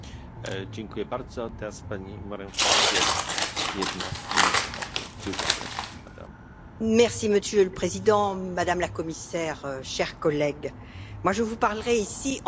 Monsieur le Président, Madame la Commissaire, chers collègues, je vous parlerai ici, en tant que présidente du comité harcèlement, du code de conduite appropriée que vous avez inséré,